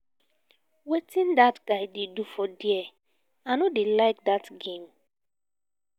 wetin dat guy dey do there? i no dey like dat game